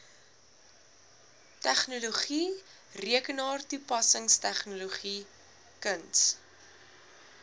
tegnologie rekenaartoepassingstegnologie kuns